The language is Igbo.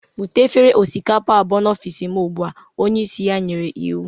Bute efere osikapa abụọ n'ọfịsị m ugbu a! onye isi ya nyere iwu